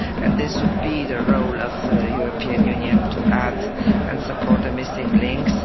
And this would be the role of the European Union to add and support the missing links.